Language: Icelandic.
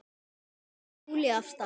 Hún dregur Júlíu af stað.